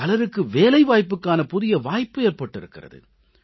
பலருக்கு வேலைவாய்ப்புக்கான புதிய வாய்ப்பு ஏற்பட்டிருக்கிறது